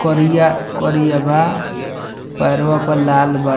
करिया-करिया बा पैरवा पर लाल बा।